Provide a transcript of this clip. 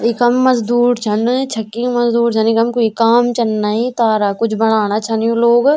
इखम मजदूर छन छक्की मजदूर छन इखम कुई काम चने तारक कुछ बणाणा छन यु लोग।